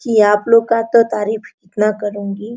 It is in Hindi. कि आप लोग तो तारीफ इतना करुँगी।